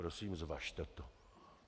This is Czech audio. Prosím, zvažte to.